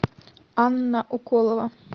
анна уколова